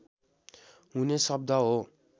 हुने शब्द हो